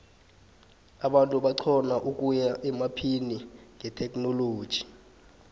abantu baxhona ukuya emaphini ngetechnologu